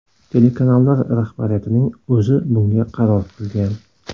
Telekanallar rahbariyatining o‘zi bunga qaror qilgan.